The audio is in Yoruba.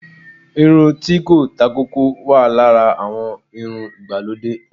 irun ti ko ta koko, wa Lara awon irún ìgbalòdé.